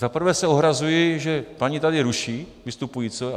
Za prvé se ohrazuji, že paní tady ruší vystupujícího.